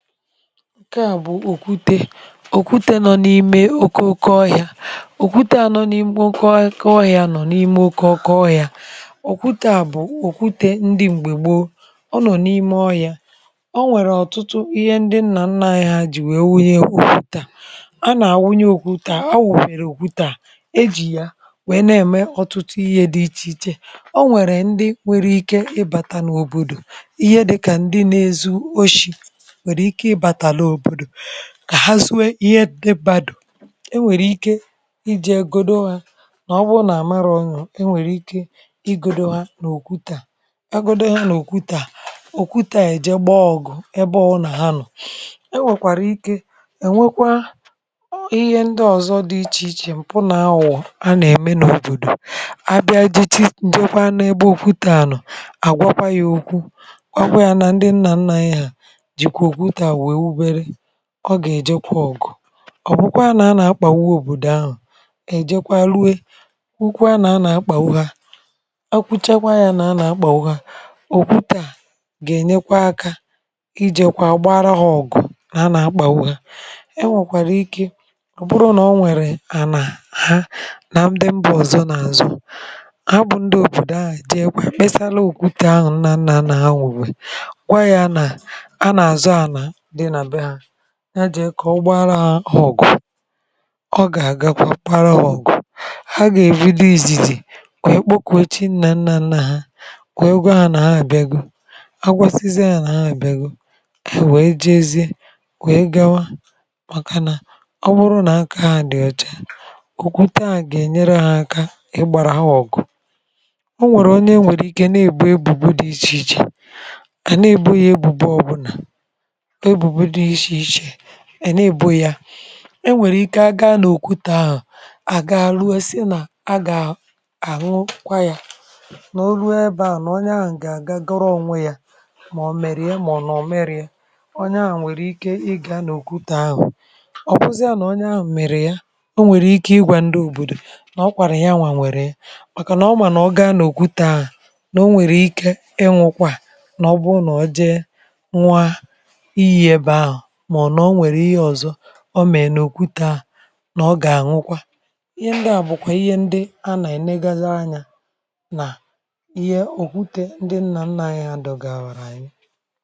ǹke à bụ̀ òkwute òkwute nọ n’ime oke òkwe ọhịȧ òkwute à nọ n’ime oke òkwe ọhịȧ òkwute à bụ̀ òkwute ndị m̀gbè gboo ọ nọ̀ n’ime ọhịȧ. O nwèrè ọ̀tụtụ ihe ndị nnà nnà ahịa jì wee wụnye okwutaa a nà-àwụnye okwutaa a wụ̀wèrè okwutaa ejì yà wèe na-ème ọ̀tụtụ ihe dị ichè ichè o nwèrè ndị nwèrè ike ịbàtà n’òbòdò ihe dị kà ndị n’ezu oshi̇ nwere ike ibata n'obodo kà ha zuo ihe ndị mmadụ e nwèrè ike ije egȯdo hȧ nà ọ bụrụ nà à mara ònyò e nwèrè ike igȯdo ha n’òkwu tàa. Agȯdo ha nà òkwu tàa òkwu tàa èje gbọọgwụ̀ ebe ọwụ nà ha nọ̀, e nwèkwàrà ike è nwekwa ihe ndị ọ̀zọ dị ichè ichè m̀pụ nà awụọ a nà-ème n’òbòdò a bịa jie ǹjekwa n’ebe okwutȧ nọ̀ àgwakwa yȧ okwu gwakwa yȧ nà ndị nnà nnà ha, gwakwa yá na ndi nna nna anyị ha jikwa okwute wee wube ọ gà-èjekwa ọgụ ọ̀bụkwa nà a nà-akpàgbu òbòdò ahụ̀ èjekwa rue ukwu a nà a nà-akpàwa ha ọ kụ̀chakwa ya nà a nà-akpàgbu ha òkwute gà-ènyekwa akȧ ijėkwa gbara ha ọ̀gụ́ a nà-akpàwa ha e nwèkwàrà ike bụrụ nà o nwèrè ànà ha nà ndị mba ọ̀zọ n’àzụ a bụ̇ ndị òbòdò ahụ̀ jee kwe kpesala òkwute ahụ̀ nna anà anà ha wùbè kwa ya nà a nà àzụ anà dị na be ha ya jì ịkọ̀ ụgbọarọ̇ ahụ̀ ọ̀gụ̀ ọ gà-àgakwa kparaọ̇gụ̀ ha gà-èbido izìzì wèe kpokùo chi na nna nna ha wèe gwa ha nà-abịa guo agwasizịa ha nà-abịa gụ̀o, e wee jee ezi wèe gawa, màkà nà ọ bụrụ nà aka ha dị̀ ọcha okwute à gà-ènyere ha aka ịgbàrà ha ọ̀gụ̀. O nwèrè onye nwèrè ike na-èbù ebùbu dị ichè ichè a na-ebo ya ebùbo ọbụnà ebubo di iche iche a na'ebu ya e nwèrè ike aga n’òkùtu ahụ̀ àga rue si nà a gà àhụkwa ya nà olu ebe ahụ̀ nà ọnyà ahụ̀ gà agọrọ ònwe yȧ màọ̀ mèrè ya mà ọ̀ nọ̀ mèrè ya ọnyà ahụ̀ nwèrè ike ị gà n’òkùtu ahụ̀ ọ̀bụzịa nà ọnyà ahụ̀ mèrè ya o nwèrè ike ị gwà ndị òbòdò nà ọ kwànu ya nwà nwèrè ya, màkà nà ọ mà nà ọ gaa n’òkùtu ahụ̀ nà o nwèrè ike ịnwụkwa a, nà ọ bụrụ́ nà ọjẹ̇ ñuọ ịyi ebe ahu ma ọbụ́ na onwere ihe ọzọ omere n’òkwute à nà ọ gà-àṅwụkwa ihe ndị à bụ̀kwà ihe ndị a nà-ènegaza anyȧ nà ihe òkwute ndị nnà nnȧ anyị à dògà bàrà anyị.